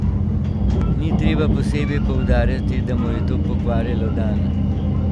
Ni treba posebej poudarjati, da mu je to pokvarilo dan.